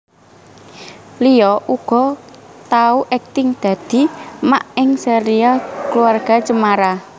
Lia uga tau akting dadi Mak ing Serial Keluarga Cemara